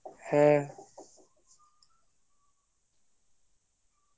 হ্যাঁ